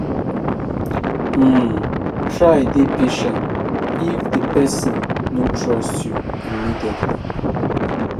um Try dey patient if di person no trust you immediately